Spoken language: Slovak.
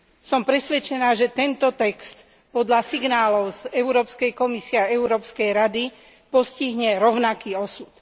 Som presvedčená, že tento text podľa signálov z Európskej komisie a Európskej rady postihne rovnaký osud.